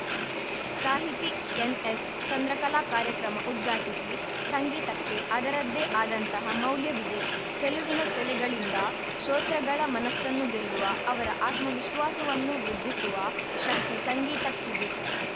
ಸಾಹಿತಿ ಎನ್‌ಎಸ್‌ ಚಂದ್ರಕಲಾ ಕಾರ್ಯಕ್ರಮ ಉದ್ಘಾಟಿಸಿ ಸಂಗೀತಕ್ಕೆ ಅದರದ್ದೇ ಆದಂತಹ ಮೌಲ್ಯವಿದೆ ಚೆಲುವಿನ ಸೆಲೆಗಳಿಂದ ಶೋತೃಗಳ ಮನಸ್ಸನ್ನು ಗೆಲ್ಲುವ ಅವರ ಆತ್ಮವಿಶ್ವಾಸವನ್ನು ವೃದ್ಧಿಸುವ ಶಕ್ತಿ ಸಂಗೀತಕ್ಕಿದೆ